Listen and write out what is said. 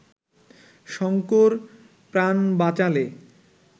শঙ্কর প্রাণ বাঁচালে